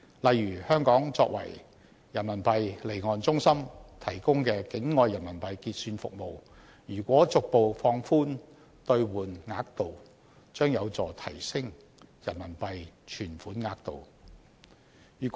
例如香港作為人民幣離岸中心提供的境外人民幣結算服務，如果逐步放寬兌換額度，將有助提升人民幣存款額度。